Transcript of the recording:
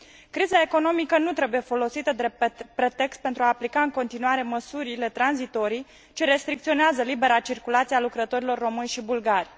Criza economică nu trebuie folosită drept pretext pentru a aplica în continuare măsurile tranzitorii, ce restricționează libera circulație a lucrătorilor români și bulgari.